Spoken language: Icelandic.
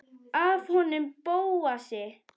Af honum Bóasi?